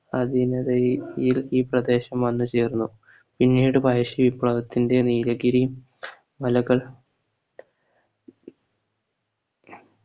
അതിനിടയിൽ ഇൽ ഈ പ്രദേശം വന്ന് ചേർന്നു പിന്നീട് പഴശ്ശി വിപ്ലവത്തിന്റെ നീലഗിരി മലകൾ